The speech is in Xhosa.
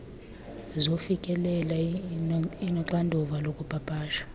zokufikelela inoxanduva lokupapasha